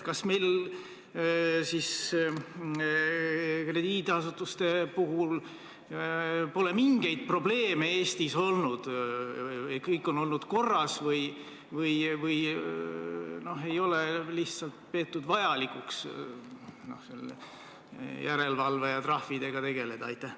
Kas meil siis krediidiasutustega pole mingeid probleeme Eestis olnud, kõik on olnud korras, või ei ole lihtsalt peetud vajalikuks järelevalve ja trahvidega tegeleda?